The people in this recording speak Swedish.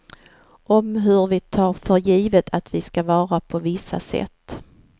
Om hur vi tar för givet att vi ska vara på vissa sätt.